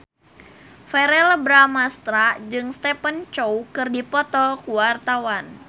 Verrell Bramastra jeung Stephen Chow keur dipoto ku wartawan